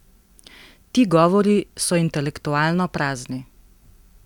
Ti govori so intelektualno prazni.